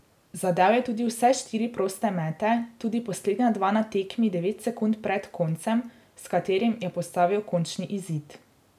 Zadel je tudi vse štiri proste mete, tudi poslednja dva na tekmi devet sekund pred koncem, s katerim je postavil končni izid.